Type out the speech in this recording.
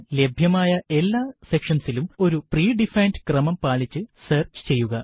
ലഭ്യമായ എല്ലാ സെക്ഷന്സിലും ഒരു pre ഡിഫൈൻഡ് ക്രമം പാലിച്ചു സെർച്ച് ചെയ്യുക